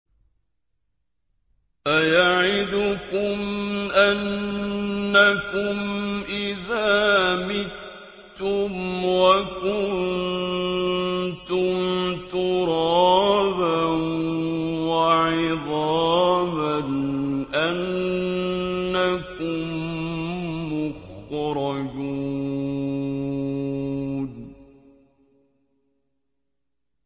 أَيَعِدُكُمْ أَنَّكُمْ إِذَا مِتُّمْ وَكُنتُمْ تُرَابًا وَعِظَامًا أَنَّكُم مُّخْرَجُونَ